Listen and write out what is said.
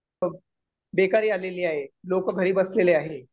बेकारी आलेली आहे. लोकं घरी बसलेले आहे.